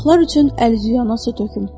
Uşaqlar üçün əl üzüyə su töküm.